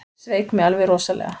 Sveik mig alveg rosalega.